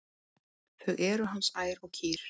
Þau eru hans ær og kýr.